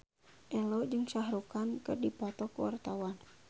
Ello jeung Shah Rukh Khan keur dipoto ku wartawan